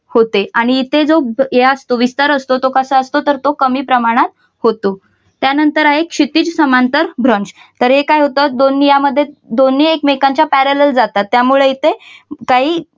होते आणि इथे जो या विसर असतो तो कसा असतो तर तो कमी प्रमाणात होतो त्यानंतर आहे क्षितिज समांतर भ्रंश. तर हे काय होत दोन यामध्ये दोन्ही एकमेकांच्या parallel जातात त्यामुळे इथे काही